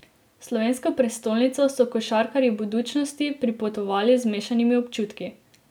V slovensko prestolnico so košarkarji Budućnosti pripotovali z mešanimi občutki.